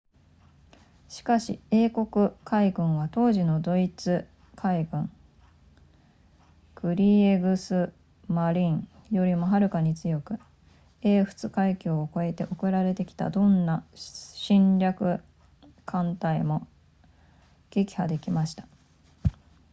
しかし英国海軍は当時のドイツ海軍 kriegsmarine よりもはるかに強く英仏海峡を越えて送られてきたどんな侵略艦隊も撃破できました